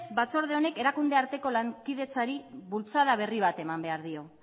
batzorde honek erakunde arteko bultzada berri bat eman behar dio